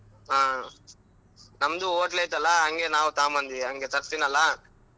ಹಾ ನಮ್ಡು ಹೋಟ್ಲು ಐತಲಾ ಹಂಗೆ ನಾವು ತಗೊಂಬಂದ್ವಿ ಹಂಗೆ ತರಸ್ತಿನಲ್ಲಾ.